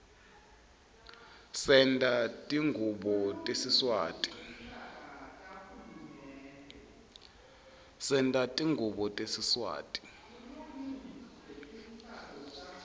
senta tingubo tesiswati